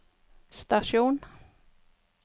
stasjon